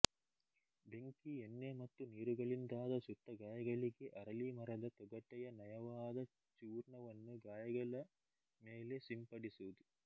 ಬೆಂಕಿ ಎಣ್ಣೆ ಮತ್ತು ನೀರುಗಳಿಂದಾದ ಸುಟ್ಟ ಗಾಯಗಳಿಗೆ ಅರಳೀ ಮರದ ತೊಗಟೆಯ ನಯವಾದ ಚೂರ್ಣವನ್ನು ಗಾಯಗಳ ಮೇಲೆ ಸಿಂಪಡಿಸುವುದು